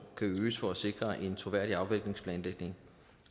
kan øges for at sikre en troværdig afviklingsplanlægning